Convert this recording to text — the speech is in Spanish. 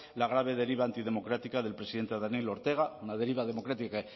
la grave deriva antidemocrática del presidente daniel ortega una deriva democrática